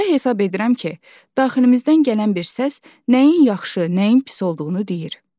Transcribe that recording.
Belə hesab edirəm ki, daxilimizdən gələn bir səs nəyin yaxşı, nəyin pis olduğunu deyir.